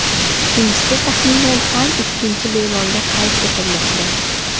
Ikkinchisi taxminan har ikkinchi bemorda qayd etilmoqda.